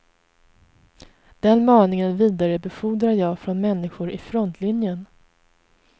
Den maningen vidarebefordrar jag från människor i frontlinjen.